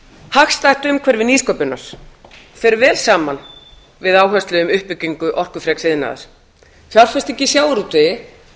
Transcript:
hagstætt umhverfi nýsköpunar fer vel saman við áherslu um uppbyggingu orkufreks iðnaðar fjárfesting í sjávarútvegi